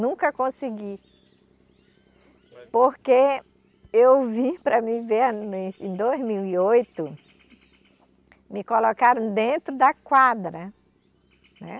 Nunca consegui, porque eu vim para me em dois mil e oito, me colocaram dentro da quadra, né?